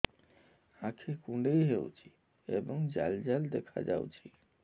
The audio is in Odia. ଆଖି କୁଣ୍ଡେଇ ହେଉଛି ଏବଂ ଜାଲ ଜାଲ ଦେଖାଯାଉଛି